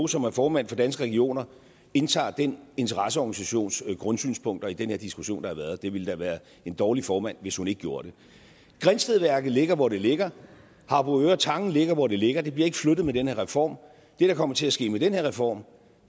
som er formand for danske regioner indtager den interesseorganisations grundsynspunkt i den her diskussion der har været det ville da være en dårlig formand hvis hun ikke gjorde det grindstedværket ligger hvor det ligger harboøre tange ligger hvor det ligger det bliver ikke flyttet med den her reform det der kommer til at ske med den her reform